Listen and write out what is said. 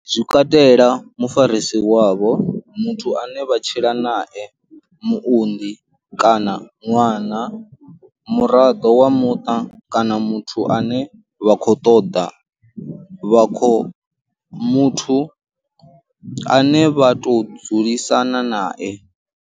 Zwi katela mufarisi wavho, muthu ane vha tshila nae, muunḓi kana ṅwana, muraḓo wa muṱa kana muthu ane vha kho ṱoḓa vha kho muthu ane vha tou dzulisana nae.